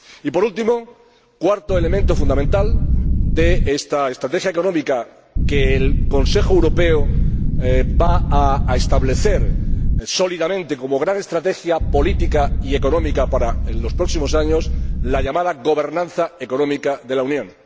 Por último, el cuarto elemento fundamental de esta estrategia económica que el Consejo Europeo va a establecer sólidamente como gran estrategia política y económica para los próximos años, es la llamada gobernanza económica de la Unión.